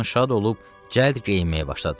Bundan şad olub cəld geyinməyə başladı.